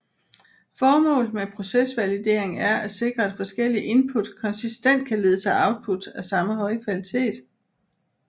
Formålet med procesvalidering er at sikre at forskellige input konsistent kan lede til output af samme høje kvalitet